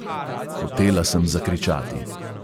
Hotela sem zakričati.